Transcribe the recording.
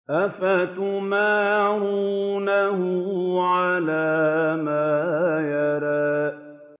أَفَتُمَارُونَهُ عَلَىٰ مَا يَرَىٰ